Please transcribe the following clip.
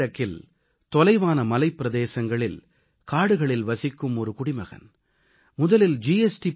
வடகிழக்கில் தொலைவான மலைப் பிரதேசங்களில் காடுகளில் வசிக்கும் ஒரு குடிமகன் முதலில் ஜி